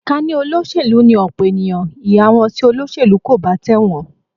Ká ní olóṣèlú ni ọ̀pọ̀ ènìyàn, ìhà wọn sí olóṣèlú kò bá tẹ̀wọ̀n